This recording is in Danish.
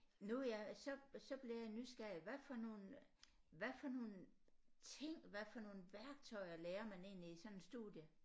Nu er jeg så så bliver jeg nysgerrig hvad for nogle hvad for nogle ting hvad for nogle værktøjer lærer man egentlig i sådan et studie